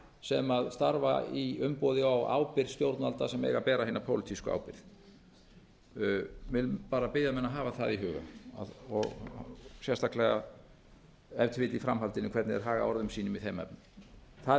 sem starfa í umboði og á ábyrgð stjórnvalda sem eiga að bera hina pólitísku ábyrgð ég vil bara biðja menn um að hafa það í huga og sérstaklega ef til vill í framhaldinu hvernig þeir haga orðum sínum í þeim efnum það er